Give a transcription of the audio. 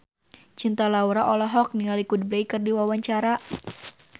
Cinta Laura olohok ningali Coldplay keur diwawancara